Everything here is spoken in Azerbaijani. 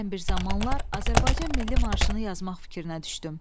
Mən bir zamanlar Azərbaycan milli marşını yazmaq fikrinə düşdüm.